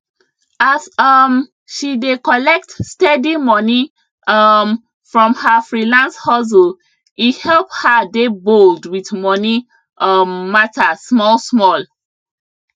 as um she dey collect steady money um from her freelance hustle e help her dey bold with money um matter small small